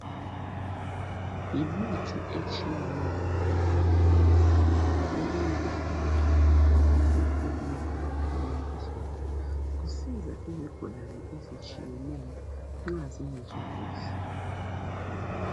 Yimithi etshiyeneyo lamaphilisi okunye kuphakathi kwamabhokisi okunye kuphakathi kwamabhodlela. Kusiza izigulane ezitshiyeneyo nxa zingezwa kuhle .